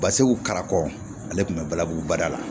Baseg'u karamɔgɔ ale tun bɛ balabu baara la